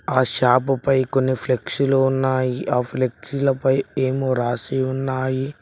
ఆ షాపుపై కొన్ని ఫ్లెక్సీలు ఉన్నాయి ఆ ఫ్లెక్సీలపై ఏమో రాసి ఉన్నాయి.